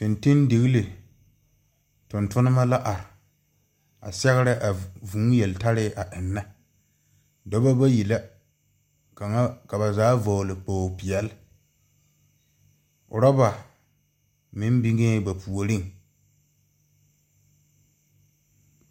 Fintindiglii tungtumba la arẽ a sɛgre a vũũ yeltarre a enga duba bayi la ka ba zaa vɔgli kpogli peɛle ruba meng bengɛɛ ba poɔring.